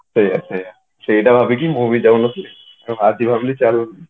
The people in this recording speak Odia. ସେଇଆ ସେଇଆ ସେଇଟା ଭବିକି ମୁଁ ବି ଯାଉନଥିଲି ଆଜି ଭାବିଲି ଚାଲ